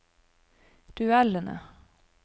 duellene